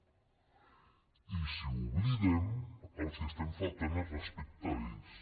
i si ho oblidem els estem faltant al respecte a ells